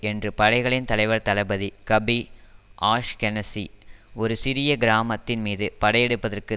என்று படைகளின் தலைவர் தளபதி கபி ஆஷ்கெனசி ஒரு சிரிய கிராமத்தின் மீது படையெடுப்பதற்கு